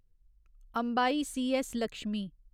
Ambai C S. Lakshmi